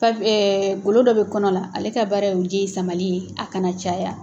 Fa golo dɔ bɛ kɔnɔ la ale ka baara ye o ji in samali ye a kana caya.